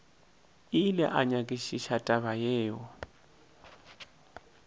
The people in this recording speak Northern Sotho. ile a nyakišiša taba yeo